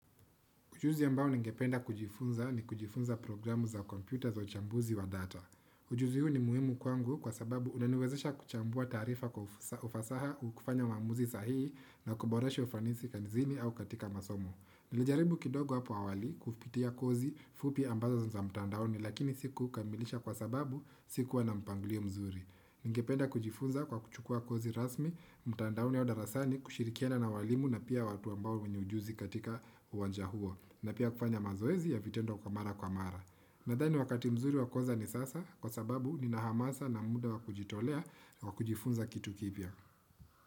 Ujuzi ambao ningependa kujifunza ni kujifunza programu za kompyuta za uchambuzi wa data. Ujuzi huu ni muhimu kwangu kwa sababu unaniwezesha kuchambua taarifa kwa ufasaha kufanya waamuzi sahihi na kuboresha ufanisi kazini au katika masomo. Nilijaribu kidogo hapo awali kupitia kozi fupi ambazo za mtandaoni lakini siku kamilisha kwa sababu sikuwa na mpangilio mzuri. Ningependa kujifunza kwa kuchukua kozi rasmi mtandaoni au darasani kushirikiana na walimu na pia watu ambao wenye ujuzi katika uwanja huo. Na pia kufanya mazoezi ya vitendo kwa mara kwa mara. Nadhani wakati mzuri wa koza ni sasa kwa sababu nina hamasa na muda wa kujitolea wa kujifunza kitu kipia.